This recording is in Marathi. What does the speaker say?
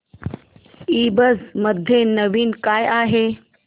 ईबझ मध्ये नवीन काय आहे